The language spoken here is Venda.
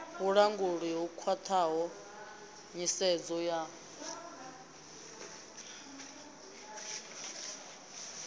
vhulanguli ho khwathaho nyisedzo ya